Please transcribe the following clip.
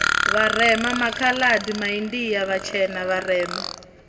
vharema makhaladi maindia vhatshena vharema